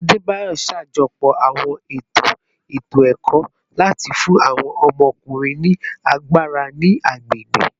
Adebayor ṣajọpọ awọn eto eto-ẹkọ lati fun awọn ọmọkunrin ni agbara ni agbegbe